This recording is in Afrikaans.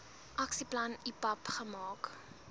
aksieplan ipap gemaak